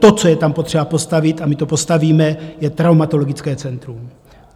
To, co je tam potřeba postavit, a my to postavíme, je traumatologické centrum.